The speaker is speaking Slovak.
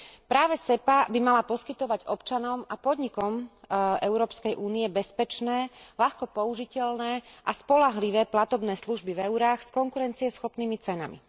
Práve SEPA by mala poskytovať občanom a podnikom Európskej únie bezpečné, ľahko použiteľné a spoľahlivé platobné služby v eurách s konkurencieschopnými cenami.